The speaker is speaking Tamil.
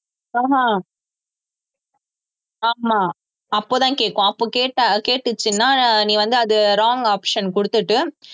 ஆஹ் அஹ் ஆமா அப்பதான் கேக்கும் அப்ப கேட்டா கேட்டுச்சுன்னா நீ வந்து அது wrong option குடுத்துட்டு